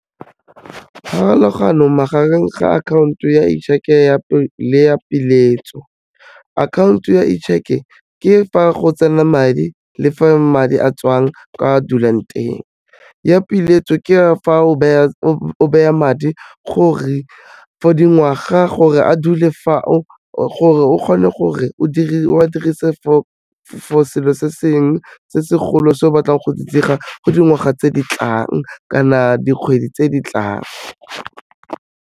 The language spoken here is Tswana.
Pharologano magareng ga akhaonto ya cheque-e le ya peeletso, akhaonto ya cheque-ke fa go tsena madi le fa madi a a tswang kwa dulang teng, ya peeletso ke a fa o beya madi gore, for dingwaga gore a dule fao, gore o kgone gore o a dirise for selo se sengwe se segolo se o batlang go se dira, go dingwaga tse di tlang kana dikgwedi tse di tlang.